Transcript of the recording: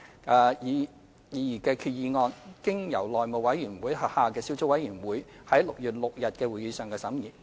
這項擬議決議案經內務委員會轄下的小組委員會於6月6日的會議上審議。